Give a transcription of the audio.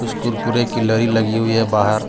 उस कुरकुरे की लरी लगी हुई हैं बाहर.